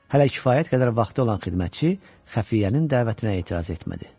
Hələ kifayət qədər vaxtı olan xidmətçi xəfiyyənin dəvətinə etiraz etmədi.